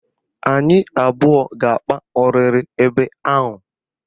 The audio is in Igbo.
Anyị abụọ ga-akpa ọrịrị ebe ahụ